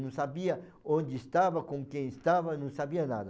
Não sabia onde estava, com quem estava, não sabia nada.